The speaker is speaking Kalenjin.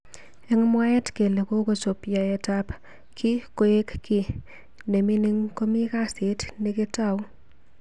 Eng mwaet kele kokochop yaet ab kii koek ki nemingingn komi kasit neketou.